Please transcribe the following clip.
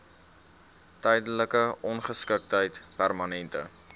tydelike ongeskiktheid permanente